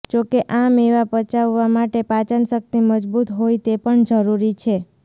જો કે આ મેવા પચાવવા માટે પાચનશક્તિ મજબૂત હોય તે પણ જરૂરી છે